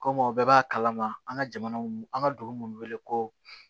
Komi o bɛɛ b'a kalama an ka jamana mun an ka dugu minnu wele ko